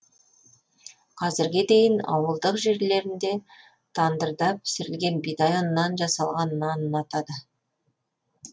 қазірге дейін ауылдық жерлерінде тандырда пісірілген бидай ұнынан жасалған нанды ұнатады